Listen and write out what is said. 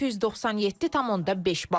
697.5 bal.